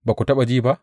Ba ku taɓa ji ba?